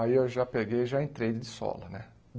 Aí eu já peguei, já entrei de sola, né?